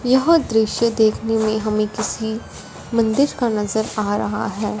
यह दृश्य देखने में हमें किसी मंदिर का नजर आ रहा है।